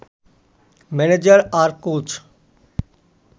manager আর coach